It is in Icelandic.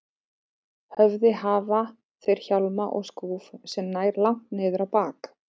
höfði hafa þeir hjálma og skúf sem nær langt niður á bak.